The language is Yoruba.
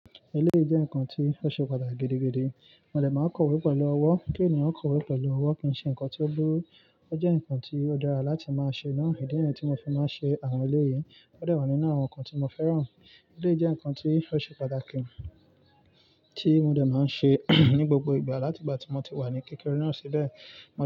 Eleyii jẹ́ ǹkan tí ó ṣe pàtàkì gidigidi. Mo dẹ̀ máa ń kọ́wé pẹ̀lú ọwọ́, kí ènìyàn kọ́wé pẹ̀lú ọwọ́ kì í ṣe ǹkan tí ó dúró, ó jẹ́ ǹkan tí ó dára láti máa ṣe náà. Ìdí eyi tí mo fi máa ń ṣe àwọn eleyìí ó dẹ wa nínú àwọn ǹkan tí mo fẹ́ràn. Eleyii jẹ́ ǹkan tí ó ṣe pàtàkì tí mo dẹ̀ máa ń ṣe ní gbogbo ìgbà láti ìgbà tí mo ti wà ní kékeré náà síbẹ̀.